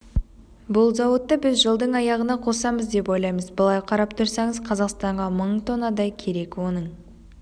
бұл зауытты біз жылдың аяғына қосамыз деп ойлаймыз былай қарап тұрсаңыз қазақстанға мың тоннадай керек оның